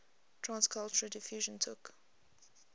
trans cultural diffusion took